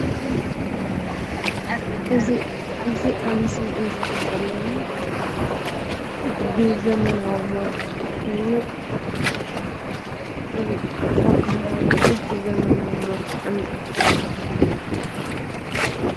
እዙይ እዙይ ኣብ ምስሊ እንርእዮ ዘለና ብዘመናዊ መልክዑ ኮይኑ ካብ ባህላዊ ዝወፅኡ ዘመናዊ መልክዑን እንረኽቦ እንታይ ይብሃል?